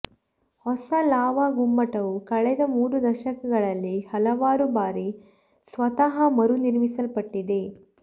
ಹೊಸ ಲಾವಾ ಗುಮ್ಮಟವು ಕಳೆದ ಮೂರು ದಶಕಗಳಲ್ಲಿ ಹಲವಾರು ಬಾರಿ ಸ್ವತಃ ಮರುನಿರ್ಮಿಸಲ್ಪಟ್ಟಿದೆ